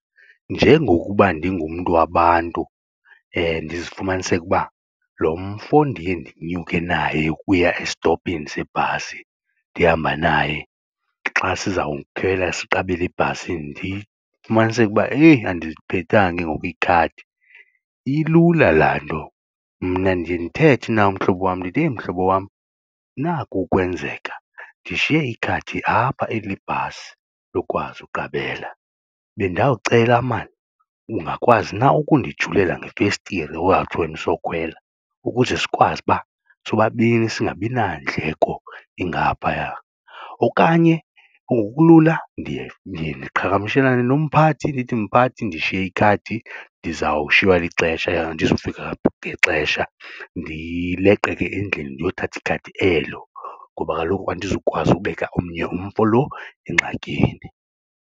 Njengokuba ndingumntu wabantu ndizifumaniseke ukuba lo mfo ndiye ndinyuke naye ukuya esitopini sebhasi ndihamba naye xa sizawukhwela siqabele ebhasini ndifumaniseke ukuba heyi andiliphethanga ke ngoku ikhadi, ilula laa nto mna ndiye ndithethe naye umhlobo wam ndithi, heyi mhlobo wam naku ukwenzeka ndishiye ikhadi apha eli lebhasi lokwazi uqabela. Bendawucela maan ungakwazi na ukundijulela ngefestire wawuthi wena usokhwela ukuze sikwazi uba sobabini singabi nandleko ingaphaya, okanye ngokulula ndiye ndiqhagamshelane nomphathi ndithi mphathi ndishiye ikhadi ndizawushiywa lixesha andizufika ngexesha ndileqe ke endlini ndiyothatha ikhadi elo ngoba kaloku andizukwazi ukubeka omnye umfo lo engxakini.